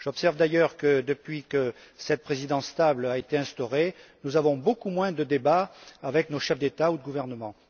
J'observe d'ailleurs que, depuis que cette présidence stable a été instaurée, nous avons beaucoup moins de débats avec nos chefs d'État et de gouvernement.